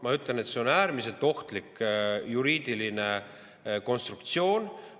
Ma ütlen, et see on äärmiselt ohtlik juriidiline konstruktsioon.